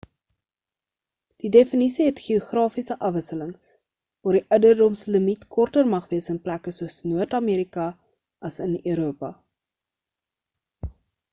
die definisie het geografiese afwisselings waar die ouderdomslimiet korter mag wees in plekke soos noord amerika as in europa